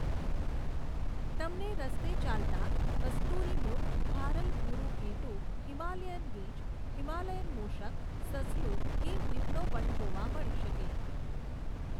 તમને રસ્તે ચાલતાં કસ્તુરી મૃગ ભારલ ભુરું ઘેટું હિમાલયન રીંછ હિમાલયન મુષક સસલું હિમ દીપડો પણ જોવા મળી શકે.